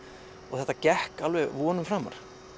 þetta gekk vonum framar